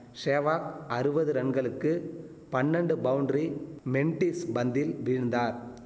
சேவாக் அறுவது ரன்களுக்கு பன்னன்டு பவுண்ட்ரி மெண்டிஸ் பந்தில் வீழ்ந்தார்